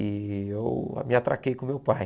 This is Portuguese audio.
E eu me atraquei com meu pai.